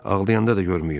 Ağlayanda da görməyim.